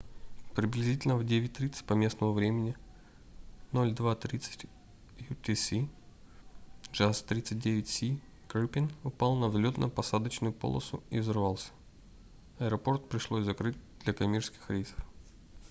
приблизительно в 9:30 по местному времени 02:30 utc jas 39c gripen упал на взлетно-посадочную полосу и взорвался. аэропорт пришлось закрыть для коммерческих рейсов